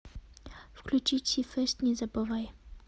включи ти фэст не забывай